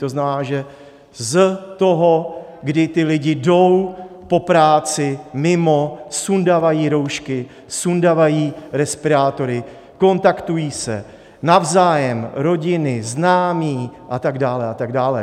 To znamená, že z toho, kdy ti lidé jdou po práci, mimo, sundavají roušky, sundavají respirátory, kontaktují se navzájem, rodiny, známí, a tak dále a tak dále.